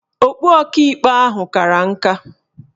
Okpu Ọkaikpe ahụ kara nka